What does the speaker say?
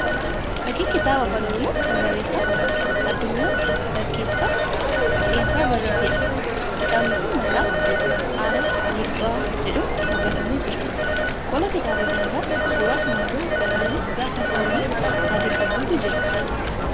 Fakkii kitaaba afaan Oromoo kan barreessaan Adunyaa Barkeessaa Dhinsaa barreesseedha. Kitaabni kun maqaa 'Arraa Gurbaa' jedhuun moggaafamee jira. Qola kitaaba kanaa irra suuraa simbirroo galaana irraa kan halluu adii qabdutu irra jira.